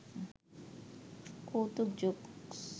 কৌতুক জোকস